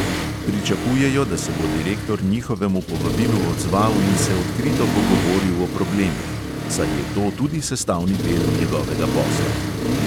Pričakujejo, da se bo direktor njihovemu povabilu odzval in se odkrito pogovoril o problemih: "saj je to tudi sestavni del njegovega posla."